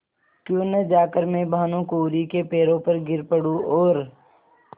क्यों न जाकर मैं भानुकुँवरि के पैरों पर गिर पड़ूँ और